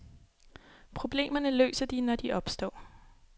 Problemerne løser de, når de opstår.